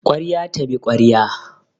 Kwarya ta bi kwarya